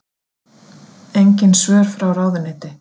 Engin svör frá ráðuneyti